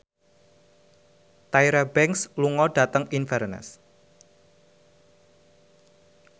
Tyra Banks lunga dhateng Inverness